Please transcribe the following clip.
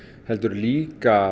heldur líka